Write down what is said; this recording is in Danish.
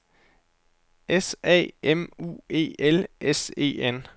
S A M U E L S E N